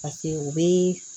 u bɛ